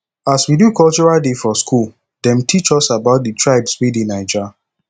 as we do cultural day for skool dem teach us about di tribes wey dey naija